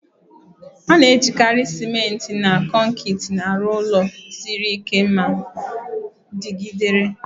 A na-ejikarị ciment na kọnkịtị arụ ụlọ siri ike ma dịgidere.